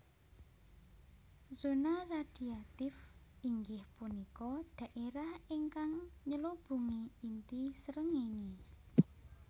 Zona radhiatif inggih punika dhaérah ingkang nylubungi inti srengéngé